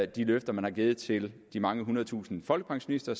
de løfter man har givet til de mange hundredtusinder folkepensionister